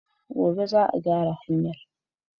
Gobe za a gyara hanyar